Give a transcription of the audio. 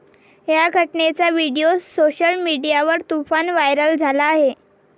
या घटनेचा video social मीडियावर तुफान व्हायरल झाला आहे.